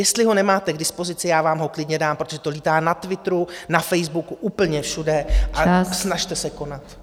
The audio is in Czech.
Jestli ho nemáte k dispozici, já vám ho klidně dám, protože to létá na Twitteru, na Facebooku, úplně všude , a snažte se konat.